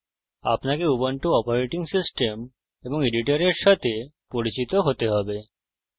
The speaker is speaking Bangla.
আপনাকে উবুন্টু অপারেটিং সিস্টেম এবং এডিটরের সাথে পরিচিত হতে হবে